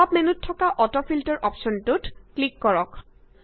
pop up মেন্যুত থকা auto filter অপশ্যন্টোত ক্লিক কৰক